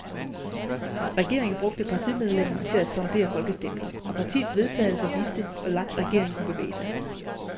Regeringen brugte partimedlemmerne til at sondere folkestemningen, og partiets vedtagelser viste, hvor langt regeringen kunne bevæge sig.